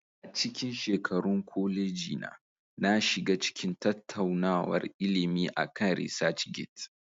A cikin shekarun koleji na, na shiga cikin tattaunawar ilimi akan ResearchGate.